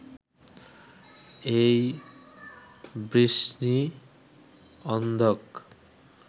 এই বৃষ্ণি অন্ধক